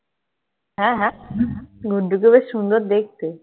হ্যাঁ, হ্যাঁ. গুড্ডুকে বেশ সুন্দর দেখতে.